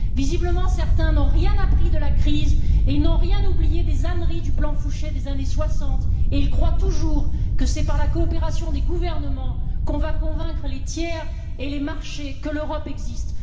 Visiblement, certains n'ont rien appris de la crise, ils n'ont rien oublié des âneries du plan Fouchet des années soixante et ils croient toujours que c'est par la coopération des gouvernements que l'on va convaincre les tiers et les marchés que l'Europe existe.